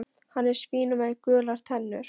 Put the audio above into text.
Hann er svín með gular tennur.